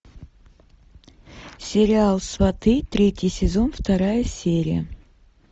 сериал сваты третий сезон вторая серия